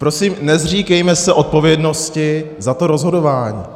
Prosím, nezříkejme se odpovědnosti za to rozhodování.